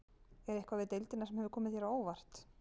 Er eitthvað við deildina sem hefur komið þér á óvart?